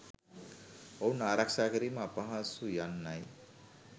ඔවුන් ආරක්‍ෂා කිරීම අපහසුය යන්නයි.